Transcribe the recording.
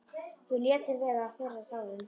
Við létum vera að þerra tárin.